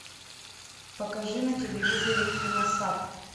покажи на телевизоре киносад